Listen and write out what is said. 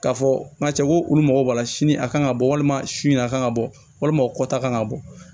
K'a fɔ nga cɛ ko olu mago b'a la sini a kan ka bɔ walima su in na a kan ka bɔ walima kɔta kan ka bɔ